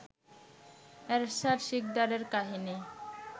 এরশাদ শিকদারের কাহিনী